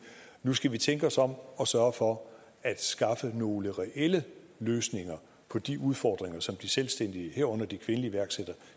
nu skal vi tænke os om og sørge for at skaffe nogle reelle løsninger på de udfordringer som de selvstændige herunder de kvindelige iværksættere